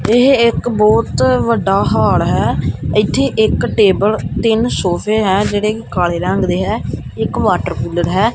ਇਹ ਇੱਕ ਬਹੁਤ ਵੱਡਾ ਹਾਲ ਹੈ ਇੱਥੇ ਇੱਕ ਟੇਬਲ ਤਿੰਨ ਸੋਫ਼ੇ ਹੈਂ ਜਿਹੜੇ ਕਿ ਕਾਲੇ ਰੰਗ ਦੇ ਹੈ ਇੱਕ ਵਾਟਰਕੂਲਰ ਹੈ।